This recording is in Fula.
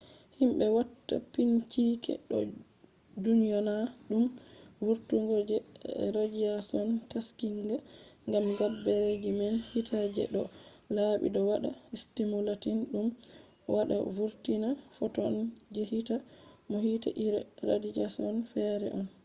himbe watta binchike do dyona dum vurtungo je radiashon taskinga” gam gabbere ji man hite je do laabi do wada stimulating dum wada vurtina photon je hite bo hite iri radiashon fere on